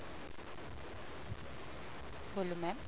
ਬੋਲੋ mam